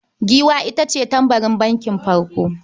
Giwa ita ce tbarin bankin farko.